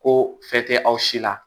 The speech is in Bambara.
Ko fɛn tɛ aw si la